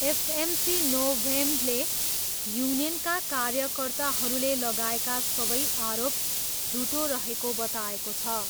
FMC नोभेम्डले युनियनका कार्यकर्ताहरूले लगाएका सबै आरोप झुटो रहेको बताएको छ।